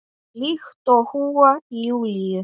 Líkt og í huga Júlíu.